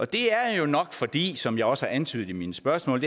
det er jo nok fordi som jeg også har antydet i mine spørgsmål